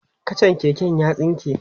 kachan keken ya tsinke